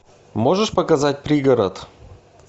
можешь показать пригород